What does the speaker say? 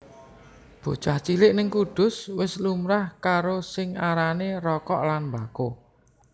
Bocah cilik ning Kudus wis lumrah karo sing arane rokok lan mbako